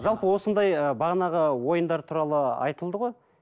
жалпы осындай ы бағанағы ойындар туралы айтылды ғой